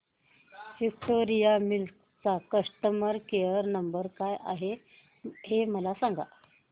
Victoria Mills चा customer care number काय आहे हे मला सांगा